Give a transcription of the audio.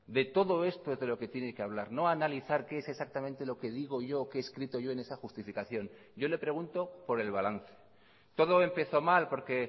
de todo esto es de lo que tiene que hablar no analizar qué es exactamente lo que digo yo o qué he escrito yo en esa justificación yo le pregunto por el balance todo empezó mal porque